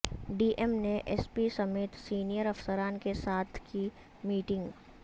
D M نے S P سمیت senior افسران کے ساتھ کی میٹنگ